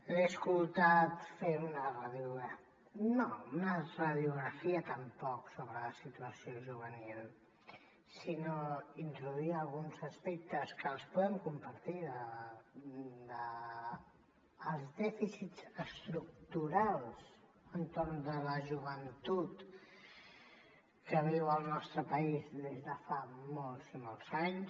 l’he escoltat fer una radiografia no una radiografia tampoc sobre la situació juvenil sinó introduir alguns aspectes que els podem compartir dels dèficits estructurals entorn de la joventut que viu el nostre país des de fa molts i molts anys